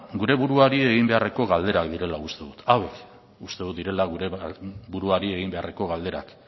gure buruari egin beharreko galderak direla uste dut hauek uste dut direla gure buruari egin beharreko galderak